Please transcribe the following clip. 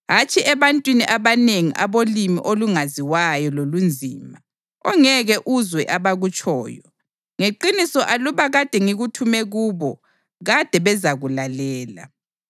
hatshi ebantwini abanengi abolimi olungaziwayo lolunzima, ongeke uzwe abakutshoyo. Ngeqiniso aluba kade ngikuthume kubo kade bezakulalela.